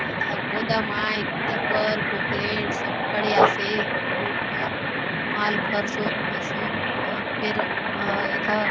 एथा गोदाम आय टिपर कोकलेंन सब खड़े आसे लोग मन माल भर सोत नेसोत अ फेर अ एथा--